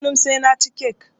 Kullun sai naci kek